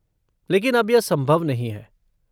लेकिन अब यह संभव नहीं है।